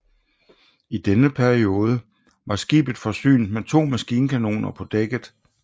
I denne periode var skibet forsynet med to maskinkanoner på dækket